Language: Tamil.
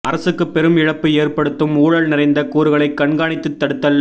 அரசுக்கு பெரும் இழப்பு ஏற்படுத்தும் ஊழல் நிறைந்த கூறுகளை கண்காணித்து தடுத்தல்